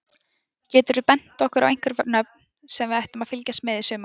Geturðu bent okkur á einhver nöfn sem við ættum að fylgjast með í sumar?